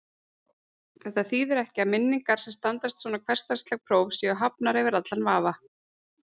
Þetta þýðir ekki að minningar sem standast svona hversdagsleg próf séu hafnar yfir allan vafa.